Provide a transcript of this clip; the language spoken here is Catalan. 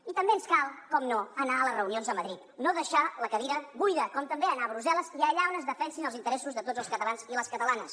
i també ens cal naturalment anar a les reunions a madrid no deixar la cadira buida com també anar a brussel·les i allà on es defensin els interessos de tots els catalans i les catalanes